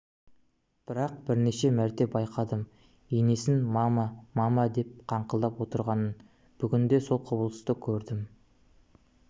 бірақ бірнеше мәрте байқадым енесін мама мама деп қақылдап отырғанын бүгін де сол құбылысты көрдім